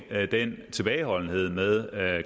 den tilbageholdenhed med